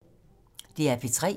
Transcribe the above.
DR P3